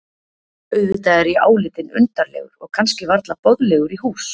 Auðvitað er ég álitinn undarlegur og kannski varla boðlegur í hús.